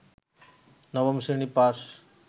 নবম শ্রেণী পাস